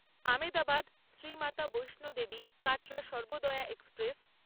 Ahmedabad Shrimata Vaishnodevi Katra Sarvodaya express